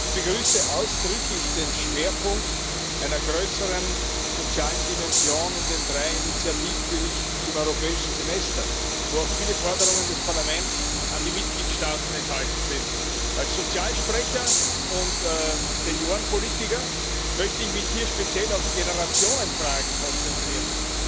Ich begrüße ausdrücklich den Schwerpunkt einer größeren sozialen Dimension in den drei Initiativberichten zum Europäischen Semester, wo auch viele Forderungen des Parlaments an die Mitgliedstaaten enthalten sind. Als Sozialsprecher und Seniorenpolitiker möchte ich mich hier speziell auf Generationenfragen konzentrieren.